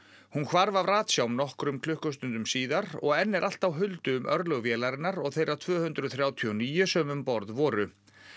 hún hvarf af nokkrum klukkustundum síðar og enn er allt á huldu um örlög vélarinnar og þeirra tvö hundruð þrjátíu og níu sem um borð voru